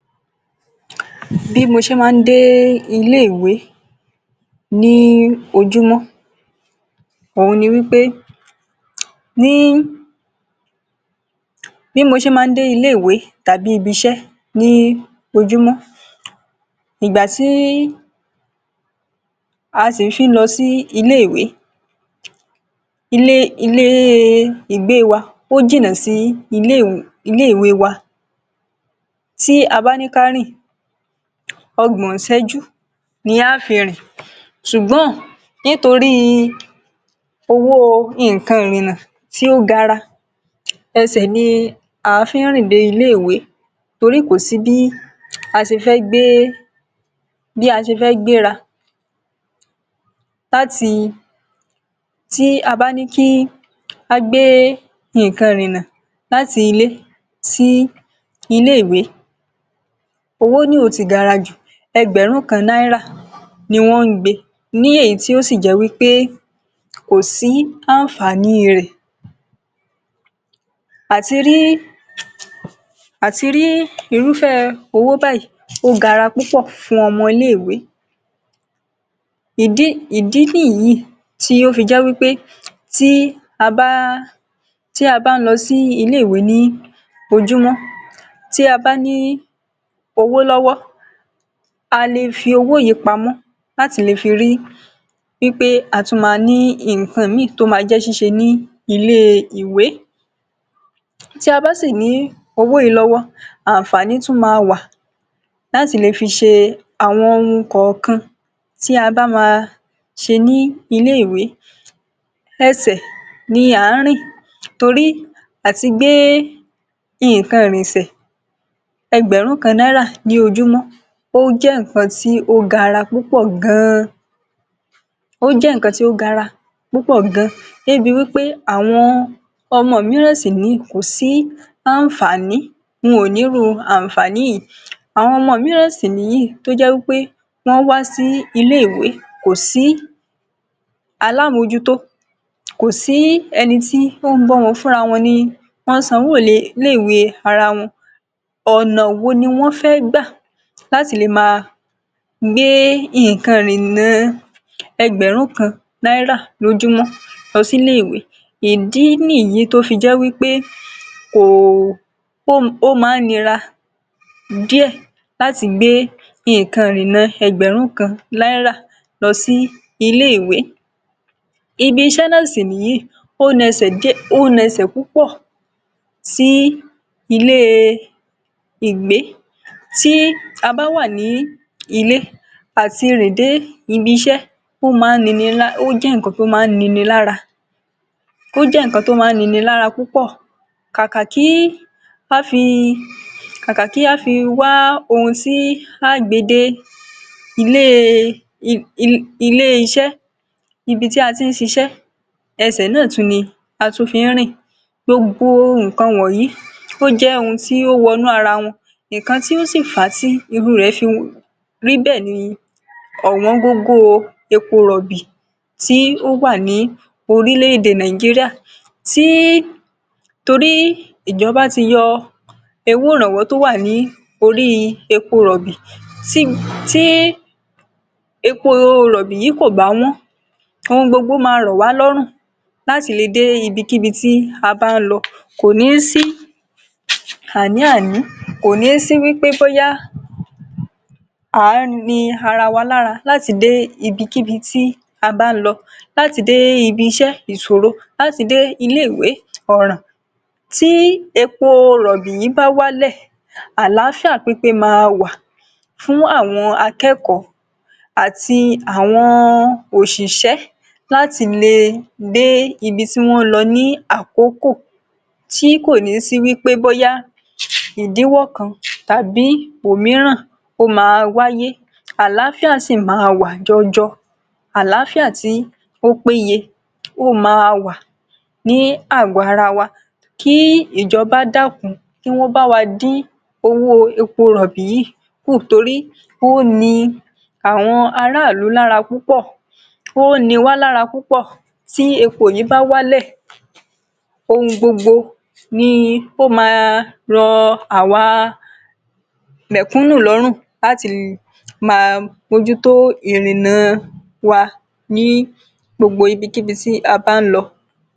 Bí mo ṣe máa ń dé ilé-ìwé ní òjumo, ohun ni wipé, bí mo ṣe máa ń dé ilé-ìwé tàbí ibi-ìṣé ní òjumo, ìgbà tí a sì fi ń lọ sí ilé-ìwé, ilé ìgbé wa ò jìnà sí ilé-ìwé wa. Tí a bá ní ká rìn, ogbon iṣẹ́jú ni a fi máa rìn dé ilé-ìwé. Ṣùgbọ́n, nítorí owó ohun ìrìnà tí ó gara, ẹsẹ̀ ni a fi ń rìn dé ilé-ìwé, torí kò sí bí a ṣe fẹ́ gbé rà, tí a bá ní ká gbé ohun ìrìnà láti ilé sí ilé-ìwé, owó naa yoo gara jù. Ẹgbẹ̀rún kan Nàírà ni wọ́n ń gbé ní, èyí tó sì jẹ́ pé kò sí àǹfààní rẹ̀. Àti rí irúfe owó báyìí, ó gara púpọ̀ fún ọmọ ilé-ìwé. Ìdí ni yìí tó fi jẹ́ pé tí a bá ń lọ sí ilé-ìwé ní òjumo, tí a bá ní owó lówó, a lè fi owó yìí pamọ́ láti lè fi rí i pé a tún ní nkan míì tí a máa jẹ nílé-ìwé. Tí a bá sì ní owó yìí lówó, àǹfààní tún máa wà láti fi ṣe ohun kan náà tí a bá fẹ́ ṣe nílé-ìwé. Ẹsẹ̀ ni a ń rìn torí pé kí a má bà a fi gbé ohun ìrìnà. Ẹgbẹ̀rún kan Nàírà ní ojúmọ́, ó jẹ́ nkan tí ó gbowó púpọ̀ gan-an, débi pé àwọn ọmọ mìíràn sì wà níbí, kò sí àǹfààní wọn; wọ́n ò ní irú àǹfààní yìí. Àwọn ọmọ mìíràn sì ni yìí, tó jẹ́ pé wọ́n wá sí ilé-ìwé, kò sí alámojúto, kò sí ẹnì tí ń tọ́jú wọn, fún ara wọn ni wọ́n ń san owó sí ilé-ìwé. Ara wọn ló ń wò ó pé, báwo ni wọ́n ṣe fẹ́ gbé ohun ìrìnà ẹgbẹ̀rún kan Nàírà l’ójúmọ́ lọ sí ilé-ìwé. Ìdí ni yìí tó fi jẹ́ pé ó máa nira díẹ̀ láti gbé ohun ìrìnà ẹgbẹ̀rún kan Nàírà lọ sí ilé-ìwé. Ibi-ìṣé náà sì ni yìí; ó ń ṣe púpọ̀ sí ilé-ìgbé. Tí a bá wà ní ilé, àti rìn dé ibi-ìṣé, ó jẹ́ nkan tó máa ní nínú ẹ ló pọ̀. Ká tó rí ohun tí a máa gbé dé ibi-ìṣé, ibi tá a ti ń ṣiṣẹ́, ẹsẹ̀ náà ni a tún fi máa rìn. Gbogbo nkan wọ̀nyí, ó jẹ́ ohun tí ó wọ̀nù ará wa. Nkan tí ó sì fà tí irú rẹ̀ fi rí bẹ́ẹ̀ ni owón-owó epo rọ̀bì tí ó wà ní orílẹ̀-èdè Nàìjíríà, torí ìjọba ti yọ owó ìrànwọ́ tí ó wà lórí epo rọ̀bì. Tí epo rọ̀bì yìí bá wà lówó, ohun gbogbo máa ran wa lọ́rùn, láti lè dé ibi kékèké tàbí ibi tó jìnà, kò ní sí àníàní, kò ní sí pé bóyá a ní ara wa lára láti dé ibikíbi tí a bá fẹ́ lọ. Láti dé ibi-ìṣé ìṣòro. Láti dé ilé-ìwé oràn. Tí epo rọ̀bì yìí bá wà, ìlàáfíà pípẹ̀ máa wà fún àwọn akẹ́kọ̀ọ́ àti àwọn oṣiṣẹ́, láti lè dé ibi tí wọ́n fẹ́ lọ ní àkókò tó yẹ. Kò ní sí pé bóyá ìdí kan tàbí mìíràn máa wáyé; àlàáfíà sì máa wà jọjọ. Àlàáfíà tí ó peye máa wà ní agọ ara wa. Kí ìjọba dákùn, kí wọ́n bá wa dín owó epo rọ̀bì yìí kù, nítorí ó ní àwọn ará-ilú lórí púpọ̀. Ó ní wa lórí púpọ̀. Tí epo rọ̀bì yìí bá wà, ohun gbogbo ni yóò máa ràn awa mẹ́kúnù lọ́rùn, láti má bọ́jú tó ohun ìrìnà wa ní gbogbo ibikíbi tí a bá fẹ́ lọ.